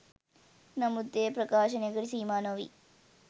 නමුත් එය ප්‍රකාශනයකට සීමා නොවී